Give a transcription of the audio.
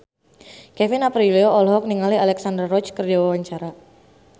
Kevin Aprilio olohok ningali Alexandra Roach keur diwawancara